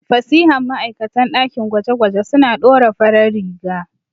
Fasihan ma'aikatan ɗakin gwaje-gwaje suna ɗora farar riga.